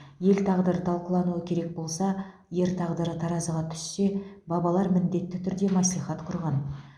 ел тағдыры талқылануы керек болса ер тағдыры таразыға түссе бабалар міндетті түрде мәслихат құрған